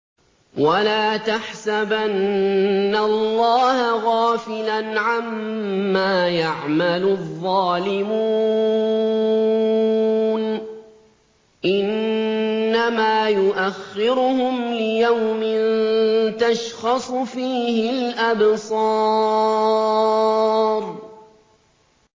وَلَا تَحْسَبَنَّ اللَّهَ غَافِلًا عَمَّا يَعْمَلُ الظَّالِمُونَ ۚ إِنَّمَا يُؤَخِّرُهُمْ لِيَوْمٍ تَشْخَصُ فِيهِ الْأَبْصَارُ